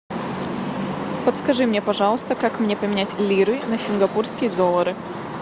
подскажи мне пожалуйста как мне поменять лиры на сингапурские доллары